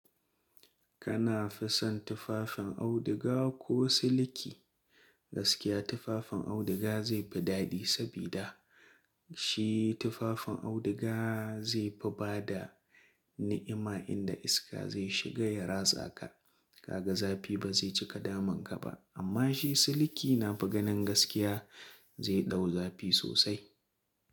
Kana fi son tufafin auduga ko siliki? Gaskiya tufafin auduga zai fi daɗi sabida shi tufafin auduga zai fi bada ni'ima inda iska zai shiga ya ratsa ka. Kaga zafi ba zai cika damun ka ba amma shi siliki na faganin gaskiya zai ɗau zafi sosai.